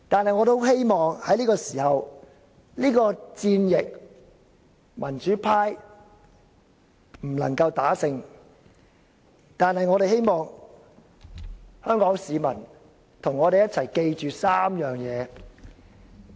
民主派無法在是次戰役中獲勝，但我們希望香港市民能與我們一起記住3點。